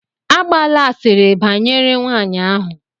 Agbala asịrị banyere nwanyị ahụ!